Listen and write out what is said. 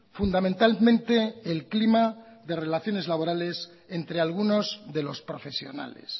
fundamentalmente el clima de relaciones laborales entre algunos de los profesionales